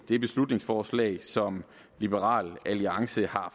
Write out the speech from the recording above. det beslutningsforslag som liberal alliance har